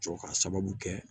Jɔ ka sababu kɛ